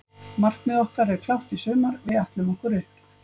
Markmið okkar er klárt í sumar, við ætlum okkur upp.